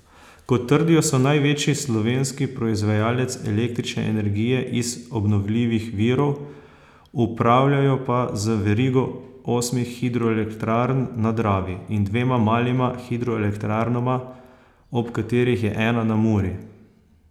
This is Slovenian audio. Kot trdijo, so največji slovenski proizvajalec električne energije iz obnovljivih virov, upravljajo pa z verigo osmih hidroelektrarn na Dravi in dvema malima hidroelektrarnama, od katerih je ena na Muri.